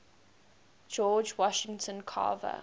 george washington carver